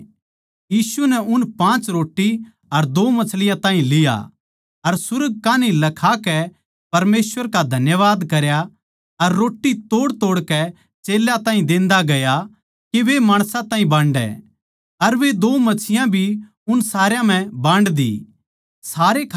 यीशु नै उन पाँच रोट्टी अर दो मच्छियाँ ताहीं लिया अर सुर्ग कै कान्ही लखाकै परमेसवर का धन्यवाद करया अर रोट्टी तोड़तोड़कै चेल्यां ताहीं देन्दा गया के वे माणसां ताहीं बांडै अर वे दो मच्छियाँ भी उन सारया म्ह बांड दी